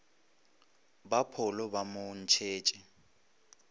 ba pholo ba mo ntšhetše